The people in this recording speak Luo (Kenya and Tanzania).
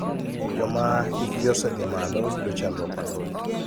Joma hik gi osedhi malo yudo chandruok mathoth .